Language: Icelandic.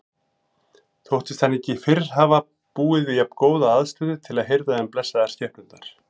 Þóttist hann ekki fyrr hafa búið við jafngóða aðstöðu til að hirða um blessaðar skepnurnar.